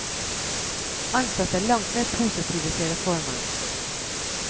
Ansatte er langt mer positive til reformen.